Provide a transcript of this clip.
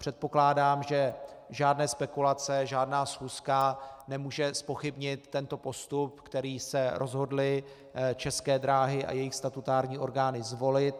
Předpokládám, že žádné spekulace, žádná schůzka nemůže zpochybnit tento postup, který se rozhodly České dráhy a jejich statutární orgány zvolit.